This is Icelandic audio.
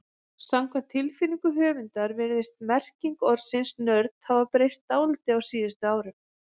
Samkvæmt tilfinningu höfundar virðist merking orðsins nörd hafa breyst dálítið á síðustu árum.